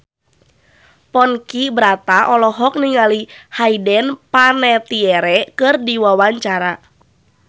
Ponky Brata olohok ningali Hayden Panettiere keur diwawancara